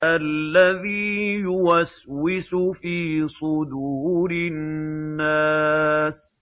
الَّذِي يُوَسْوِسُ فِي صُدُورِ النَّاسِ